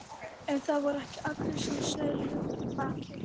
En það voru ekki allir sem sneru við okkur baki.